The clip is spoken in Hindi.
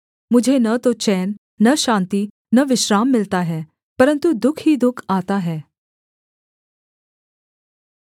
मुझे न तो चैन न शान्ति न विश्राम मिलता है परन्तु दुःख ही दुःख आता है